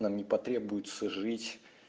нам не потребуется жить